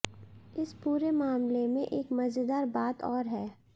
इस पूरे मामले में एक मजेदार बात और है